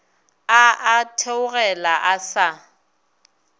a a theogela a sa